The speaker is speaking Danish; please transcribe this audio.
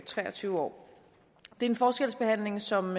tre og tyve år det er en forskelsbehandling som